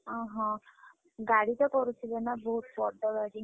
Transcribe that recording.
ଓହୋଃ, ଗାଡି ତ କରୁଥିବେ ନା ବହୁତ ବଡ ଗାଡି?